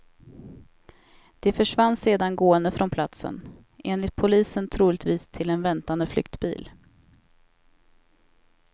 De försvann sedan gående från platsen, enligt polisen troligtvis till en väntande flyktbil.